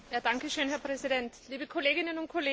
Herr Präsident, liebe Kolleginnen und Kollegen!